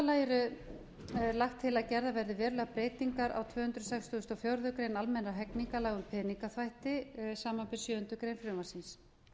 lagi er lagt til að gerðar verði verulegar breytingar á tvö hundruð sextugustu og fjórðu grein almennra hegningarlaga um peningaþvætti samanber sjöundu greinar frumvarpsins